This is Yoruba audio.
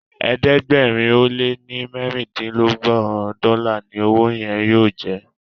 ẹ̀ẹ́dẹ̀gbẹ̀rin o le ní mérindinlogbon dòla ní ọwọ yen yóò jẹ.